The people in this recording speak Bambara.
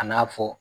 A n'a fɔ